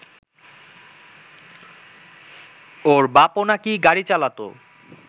ওর বাপও নাকি গাড়ি চালাত